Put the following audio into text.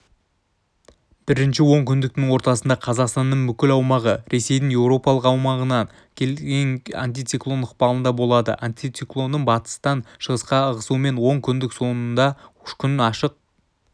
бірінші онкүндіктің ортасында қазақстанның бүкіл аумағы ресейдің еуропалық аумағынан келген антициклон ықпалында болады антициклонның батыстан шығысқа ығысуымен онкүндік соңында күн ашық